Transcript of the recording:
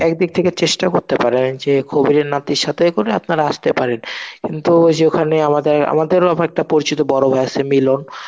একদিক থেকে চেষ্টা করতে পারেন যে কবিরের নাতির সাথে করে আপনারা আসতে পারেন. কিন্তু ওই যে ওখানে আমাদের আমাদেরও একটা পরিচিত বড় ভাই সে মিলন.